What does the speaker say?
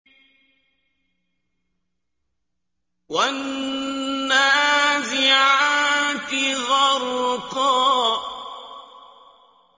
وَالنَّازِعَاتِ غَرْقًا